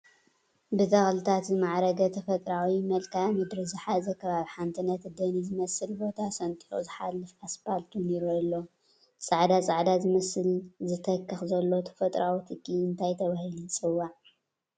ብተኽልታት ዝማዕረገ ተፈጥሮኣዊ መልክኣ ምድርን ዝሓዘ ከባቢ ሓደ ነቲ ደኒ ዝመስል ቦታ ሰንጢቑ ዝሓልፍ ኣስፓልት ውን ይረአ ኣሎ፡፡ እቲ ፃዕዳ ፃዕዳ ዝመስል ዝተኽኽ ዘሎ ተፈጥሮኣዊ ትኪ እንታይ ተባሂሉ ይፅዋዕ?